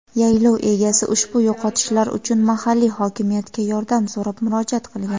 yaylov egasi ushbu yo‘qotishlar uchun mahalliy hokimiyatga yordam so‘rab murojaat qilgan.